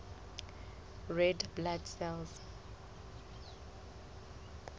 red blood cells